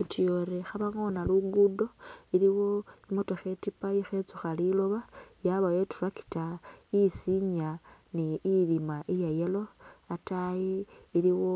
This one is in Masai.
Utuyori khaba'ngoona lugudo, iliwo i'motookha i'tiipa i'khetsukha lilooba, yabawo i'tractor isinya ni ilima iya yellow, ataayi iliwo